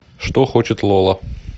что хочет лола